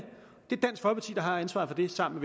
er har ansvaret for det sammen